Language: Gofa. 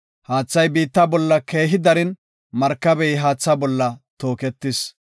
Haathay biitta bolla keehi darin, markabey haatha bolla tooketis.